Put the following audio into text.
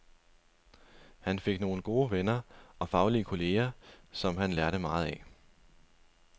Han fik nogle gode venner og faglige kolleger, som han lærte meget af.